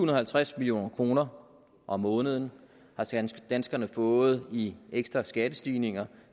og halvtreds million kroner om måneden har danskerne danskerne fået i ekstra skattestigninger